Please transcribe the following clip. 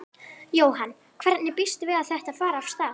Jóhann: Hvernig býstu við að þetta fari af stað?